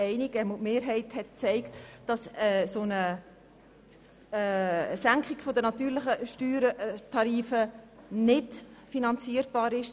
Die Mehrheit war sich einig, dass eine Senkung der Steuersätze für natürliche Personen nicht finanzierbar ist.